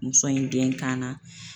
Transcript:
Muso in den kan na